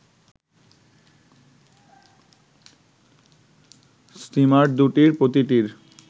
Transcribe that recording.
steamer দুটির প্রতিটির